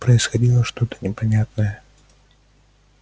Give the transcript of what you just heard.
происходило что то непонятное